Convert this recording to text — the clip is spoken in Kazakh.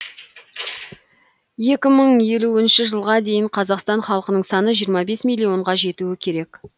екі мың елуінші жылға дейін қазақстан халқының саны жиырма бес миллионға жетуі керек